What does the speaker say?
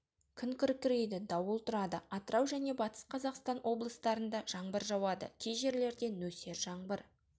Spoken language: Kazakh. күн күркірейді дауыл тұрады атырау және батыс қазақстан облыстарында жаңбыр жауады ке жерлерде нөсер жаңбыр